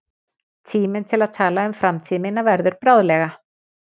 Tíminn til að tala um framtíð mína verður bráðlega.